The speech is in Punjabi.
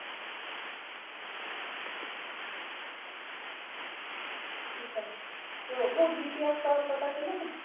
ਠੀਕ ਏ ਜੀ ਉਠੋ GPF ਦਾ ਪਤਾ ਚਲਿਆ ਕੁੱਝ